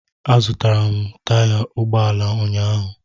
Azụtara m taya ụgbọ ala ụnyaahụ